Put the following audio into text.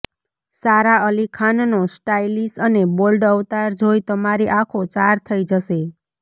સારા અલી ખાનનો સ્ટાઇલિશ અને બોલ્ડ અવતાર જોઈ તમારી આંખો ચાર થઈ જશે